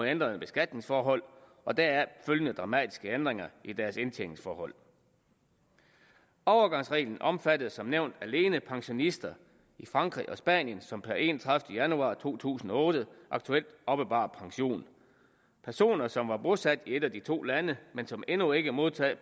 ændrede beskatningsforhold og deraf følgende dramatiske ændringer i deres indtjeningsforhold overgangsreglen omfattede som nævnt alene pensionister i frankrig og spanien som per enogtredivete januar to tusind og otte aktuelt oppebar pension personer som var bosat i et af de to lande men som endnu ikke modtog